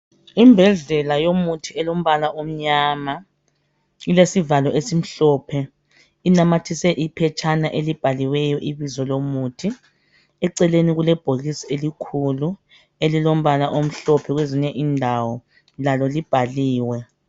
Imbodlela yomuthi elombala omnyama ilesivalo esimhlophe inamathise iphetshana elibhaliweyo ibizo lomuthi eceleni kulebhokisi elikhulu elilombala omhlophe kwezinye indawo lalo libhaliwe.